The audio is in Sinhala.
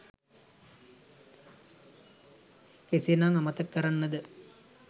කෙසේ නම් අමතක කරන්නද?